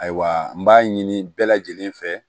Ayiwa n b'a ɲini bɛɛ lajɛlen fɛ